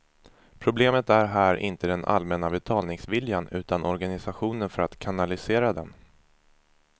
Problemet är här inte den allmänna betalningsviljan utan organisationen för att kanalisera den.